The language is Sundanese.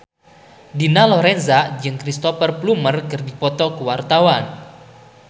Dina Lorenza jeung Cristhoper Plumer keur dipoto ku wartawan